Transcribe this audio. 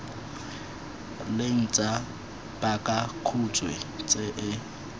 leng tsa pakakhutshwe tse e